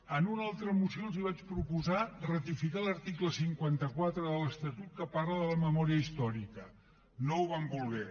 en una altra moció els vaig proposar ratificar l’article cinquanta quatre de l’estatut que parla de la memòria històrica no ho van voler